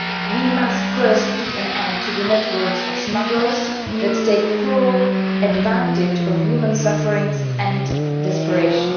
We must first put an end to the networks of smugglers that take cruel advantage of human suffering and desperation.